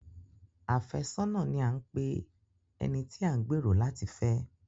Afẹ́sọ́nà ni à ń pe ẹni tí a ń gbẹ̀rò láti fẹ́.